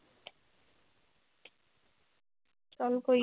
ਚੱਲ ਕੋਈ